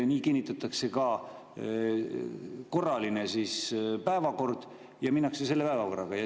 Nii kinnitatakse ka korraline päevakord ja minnakse edasi selle päevakorraga.